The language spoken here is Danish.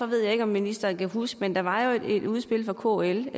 ved ikke om ministeren kan huske det men der var jo et udspil fra kl